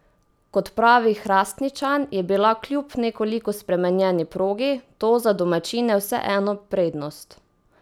Kot pravi Hrastničan, je bila kljub nekoliko spremenjeni progi, to za domačine vseeno prednost.